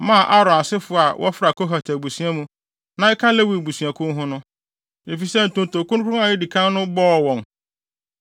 maa Aaron asefo a wɔfra Kohat abusua mu na ɛka Lewi abusuakuw ho no, efisɛ ntonto kronkron a edi kan no bɔɔ wɔn.